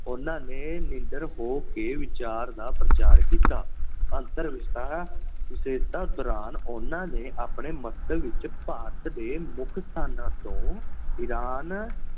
ਉਹਨਾਂ ਨੇ ਨਿਡਰ ਹੋ ਕੇ ਵਿਚਾਰ ਦਾ ਪ੍ਰਚਾਰ ਕੀਤਾ। ਅੰਤਰ ਦੌਰਾਨ ਉਹਨਾਂ ਨੇ ਆਪਣੇ ਮੰਤਵ ਵਿੱਚ ਭਾਰਤ ਦੇ ਮੁੱਖ ਸਥਾਨਾਂ ਤੋਂ ਇਰਾਨ